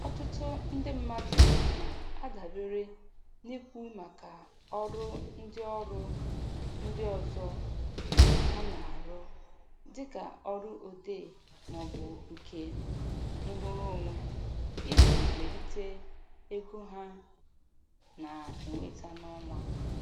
Ọtụtụ ndị mmadụ na-adabere n'ikwu maka ọrụ ndị ọrụ ndị ọzọ ha na-arụ, dịka ọrụ odee maọbụ nke nrụrụonwe, iji melite ego ha na-enweta n'ọnwa.